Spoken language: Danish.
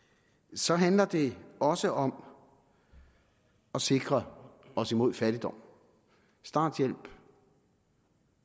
så handler det også om at sikre os imod fattigdom starthjælp